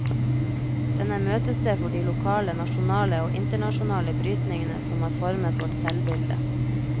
Den er møtested for de lokale, nasjonale og internasjonale brytningene som har formet vårt selvbilde.